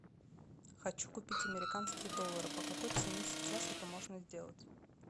хочу купить американские доллары по какой цене сейчас это можно сделать